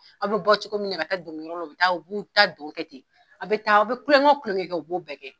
Aw bɛ bɔ cogo min na ka taa dɔnkɛyɔrɔ la u bi taa taa dɔn kɛ ten a bɛ taa aw bɛ kulonkɛ kulonkɛ kɛ u b'o bɛɛ kɛ.